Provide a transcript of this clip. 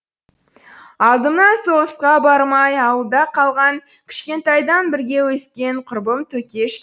алдымнан соғысқа бармай ауылда қалған кішкентайдан бірге өскен құрбым төкеш